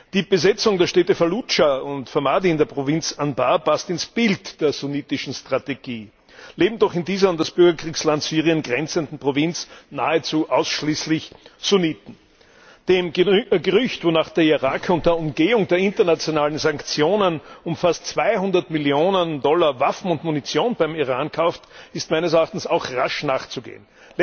Die Besetzung der Städte Falludscha und Ramadi in der Provinz Anbar passt ins Bild der sunnitischen Strategie, leben doch in dieser an das Bürgerkriegsland Syrien grenzenden Provinz nahezu ausschließlich Sunniten. Dem Gerücht, wonach der Irak unter Umgehung der internationalen Sanktionen um fast 200Millionen Dollar Waffen und Munition beim Iran kauft, ist meines Erachtens auch rasch nachzugehen.